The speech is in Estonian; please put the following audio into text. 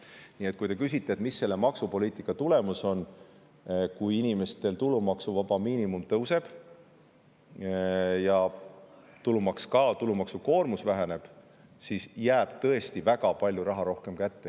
Nii et kui te küsite, mis on selle maksupoliitika tulemus – kui tulumaksuvaba miinimum tõuseb ja tulumaksukoormus väheneb, siis jääb tõesti väga palju raha rohkem kätte.